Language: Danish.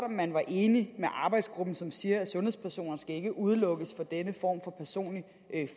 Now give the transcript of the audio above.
om man er enig med arbejdsgruppen som siger at sundhedspersoner ikke skal udelukkes fra denne form for personlig